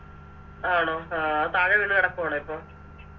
ആണോ ആ അത് താഴെ വീണ് കെടക്കുവാണോ ഇപ്പൊ